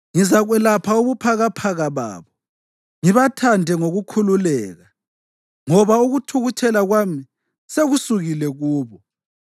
“Ngizakwelapha ubuphakaphaka babo ngibathande ngokukhululeka, ngoba ukuthukuthela kwami sekusukile kubo.